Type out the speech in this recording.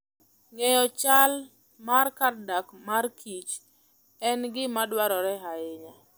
Ng'eyo chal mar kar dak markich en gima dwarore ahinya.